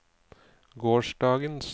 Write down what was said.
gårsdagens